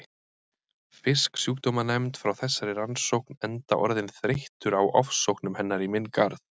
Fisksjúkdómanefnd frá þessari rannsókn enda orðinn þreyttur á ofsóknum hennar í minn garð.